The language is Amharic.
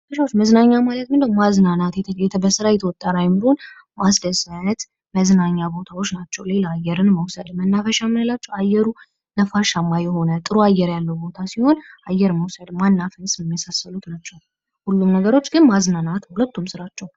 መዝናኛ ማለት ምንድን ነው የማዝናናት በስራ የተወጠረ አይምሮውን ማስደሰት መዝናኛ ቦታዎች ናቸው ሌላ አየር መውሰድ መነፈሻ የምንለው አየሩ ናፈሻማ የሆነ ጥሩ አየር ያለው ቦታ ሲሆን አየር መውሰድ ማናፈስ የመሳሰሉት ናቸው ሁሉም ነገሮች ግን ማዘናናት ሁለቱም ስራቸው ::